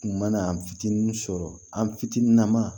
U mana an fitinin sɔrɔ an fitinin na ma